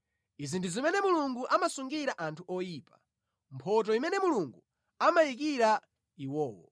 Izi ndi zimene Mulungu amasungira anthu oyipa, mphotho imene Mulungu amayikira iwowo.”